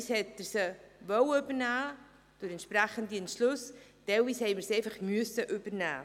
Teilweise wollte er sie mit den entsprechenden Beschlüssen übernehmen, teilweise mussten wir sie einfach übernehmen.